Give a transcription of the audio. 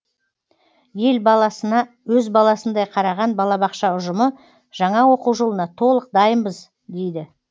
ел баласына өз баласындай қараған балабақша ұжымы жаңа оқу жылына толық дайынбыз дейді